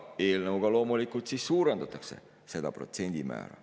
Eelnõuga loomulikult suurendatakse seda protsendimäära.